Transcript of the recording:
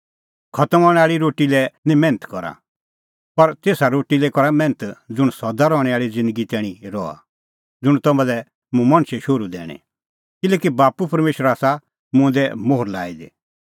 खतम हणैं आल़ी रोटी लै निं मैन्थ करा पर तेसा रोटी लै करा मैन्थ ज़ुंण सदा रहणैं आल़ी ज़िन्दगी तैणीं रहा ज़ुंण तम्हां लै मुंह मणछे शोहरू दैणीं किल्हैकि बाप्पू परमेशरै आसा मुंह दी ई मोहर लाई दी